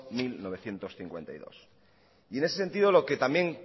mil novecientos cincuenta y dos y en ese sentido lo que también